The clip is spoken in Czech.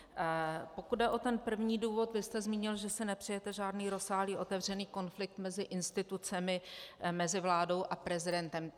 Pokud jde o ten první důvod, vy jste zmínil, že si nepřejete žádný rozsáhlý otevřený konflikt mezi institucemi, mezi vládou a prezidentem.